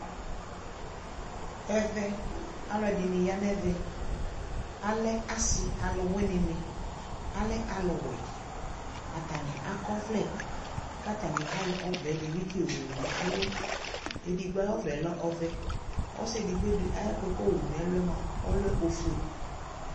ɛvɛ alʋɛdini yanʋ ɛvɛ, alɛ asii alʋ wini ni, alɛ alʋ wɛ kʋ atani akɔ ɔvlɛ kʋ atani ayɔ ɔvɛ dibi tsi yɔ wʋ nʋ ɛlʋ, ɛdigbɔ ayi ɔvlɛ lɛ ɔvɛ, ɔsii ɛdigbɔ di ayi ɔvlɛ kʋ ayɔ wʋ nʋ ɛlʋɛ lɛ ɔƒʋɛ